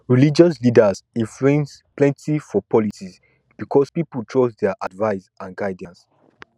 religious leaders influence plenti for politics because pipol trust dia advice and guidance